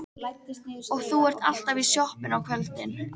Og þú ert alltaf í sjoppunni á kvöldin.